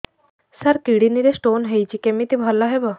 ସାର kidney ରେ stone ହେଇଛି କମିତି ଭଲ ହେବ